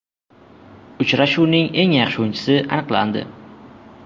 Uchrashuvning eng yaxshi o‘yinchisi aniqlandi.